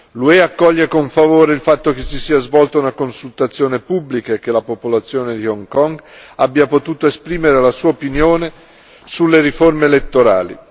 L'UE accoglie con favore il fatto che si sia svolta una consultazione pubblica e che la popolazione di Hong Kong abbia potuto esprimere la sua opinione sulle riforme elettorali.